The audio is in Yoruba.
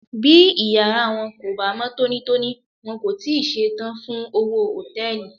Bí ìyára wọn kò bá mọ́ tónítóní, wọn kò tíì ṣe tán fún òwò Hòtẹ́lìì.